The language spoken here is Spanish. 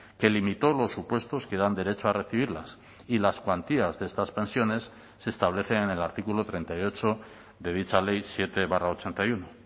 que limitó los supuestos que dan derecho a recibirlas y las cuantías de estas pensiones se establecen el artículo treinta y ocho de dicha ley siete barra ochenta y uno